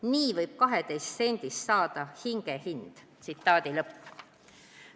Nii võib 12 sendist saada hinge hind!